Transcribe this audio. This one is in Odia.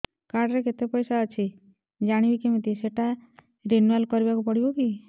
କାର୍ଡ ରେ କେତେ ପଇସା ଅଛି ଜାଣିବି କିମିତି ସେଟା ରିନୁଆଲ କରିବାକୁ ପଡ଼ିବ କି